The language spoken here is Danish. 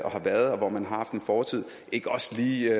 har været og hvor man har haft en fortid ikke også lige